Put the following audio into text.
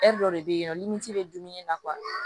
dɔ de bɛ yen nɔ bɛ dumuni na